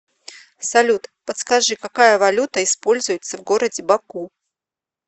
салют подскажи какая валюта используется в городе баку